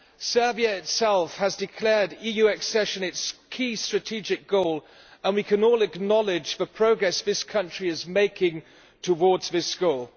Serbia itself has declared EU accession as its key strategic goal, and we can all acknowledge the progress this country is making towards this goal.